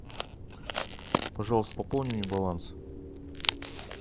пожалуйста пополни мне баланс